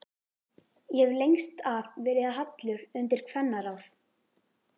Ég hef lengst af verið hallur undir kvennaráð.